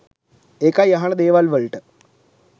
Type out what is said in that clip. ඒකයි අහන දේවල් වලට